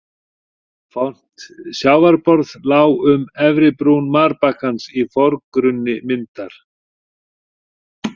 Fornt sjávarborð lá um efri brún marbakkans í forgrunni myndar.